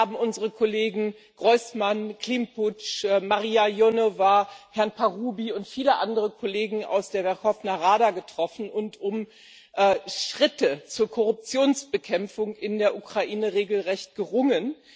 Wir haben unsere Kollegen Hrojsman, Klympusch, Marija Ionowa, Herrn Parubij und viele andere Kollegen aus der Werchowna Rada getroffen und um Schritte zur Korruptionsbekämpfung in der Ukraine regelrecht gerungen.